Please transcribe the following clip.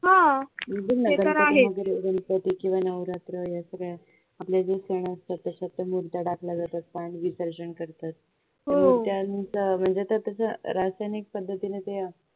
गणपती किंवा नवरात्र या सगळ्या आपले जे सण असतात त्याच्यात मुर्त्या टाकल्या जातात पाणी विसर्जन करतात म्हणजे त्या त्याच्या रासायनिक